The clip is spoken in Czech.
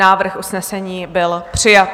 Návrh usnesení byl přijat.